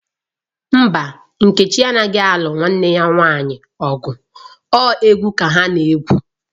Mba, nkechi anaghi alu nwanne ya nwanyi ogu o egwu ka ha na-egwu.